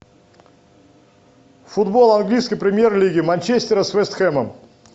футбол английской премьер лиги манчестера с вест хэмом